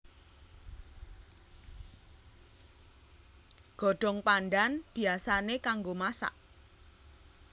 Godhong pandhan biyasané kanggo masak